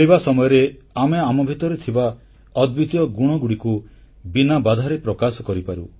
ଖେଳିବା ସମୟରେ ଆମେ ଆମ ଭିତରେ ଥିବା ଅଦ୍ୱିତୀୟ ଗୁଣଗୁଡ଼ିକୁ ବିନା ବାଧାରେ ପ୍ରକାଶ କରିପାରୁ